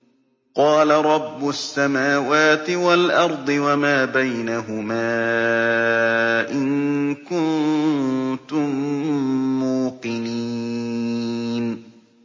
قَالَ رَبُّ السَّمَاوَاتِ وَالْأَرْضِ وَمَا بَيْنَهُمَا ۖ إِن كُنتُم مُّوقِنِينَ